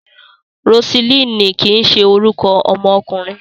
Rosilíìnì kìí ṣe orúkọ ọmọkùnrin.